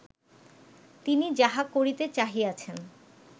তিনি যাহা করিতে চাহিয়াছেন